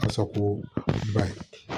Kasako ba ye